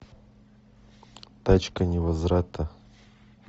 тачка невозврата